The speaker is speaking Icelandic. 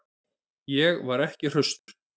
Ég var ekki hraustur.